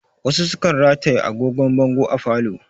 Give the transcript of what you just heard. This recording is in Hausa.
Wasu sukan rataye agogon bango a falo